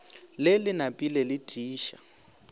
le le napile le tiiša